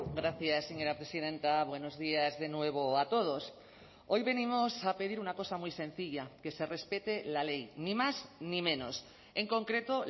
gracias señora presidenta buenos días de nuevo a todos hoy venimos a pedir una cosa muy sencilla que se respete la ley ni más ni menos en concreto